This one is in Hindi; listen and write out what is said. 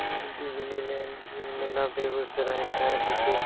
यह डिज़्नी लैंड मेला बेगुसराय का है देखिये।